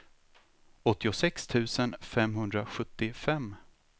åttiosex tusen femhundrasjuttiofem